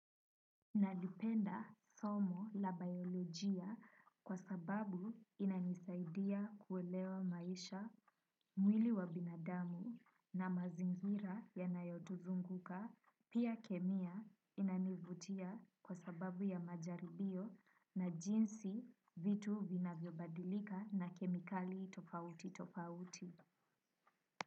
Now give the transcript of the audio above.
Nalipenda somo la bayolojia kwa sababu inanisaidia kuelewa maisha, mwili wa binadamu na mazingira yanayotuzunguka, pia kemia inanivutia kwa sababu ya majaribio na jinsi vitu vinavyobadilika na kemikali tofauti tofauti.